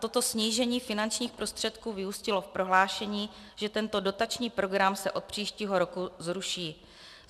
Toto snížení finančních prostředků vyústilo v prohlášení, že tento dotační program se od příštího roku zruší.